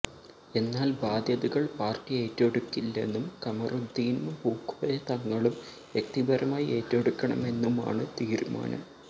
എന്നാൽ ബാധ്യതകൾ പാർട്ടി ഏറ്റെടുക്കില്ലെന്നും ഖമറുദ്ദീനും പൂക്കോയ തങ്ങളും വ്യക്തിപരമായി ഏറ്റെടുക്കണമെന്നുമാണ് തീരുമാനം